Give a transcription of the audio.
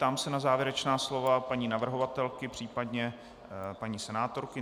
Ptám se na závěrečná slova paní navrhovatelky, případně paní senátorky.